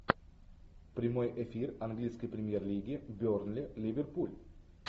прямой эфир английской премьер лиги бернли ливерпуль